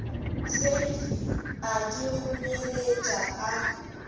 seifi a di kgonyeletša a